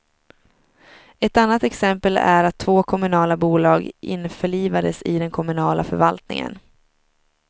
Ett annat exempel är att två kommunala bolag införlivades i den kommunala förvaltningen.